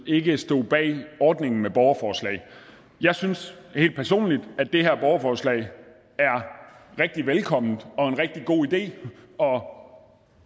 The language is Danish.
ikke stod bag ordningen med borgerforslag jeg synes helt personligt at det her borgerforslag er rigtig velkommen og en rigtig god idé og i og